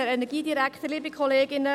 Ich nehme es vorweg: